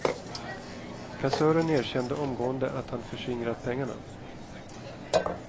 Kassören erkände omgående att han förskingrat pengarna.